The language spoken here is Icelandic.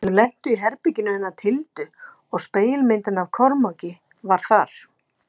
Þau lentu í herberginu hennar Tildu og spegilmyndin af Kormáki var þar.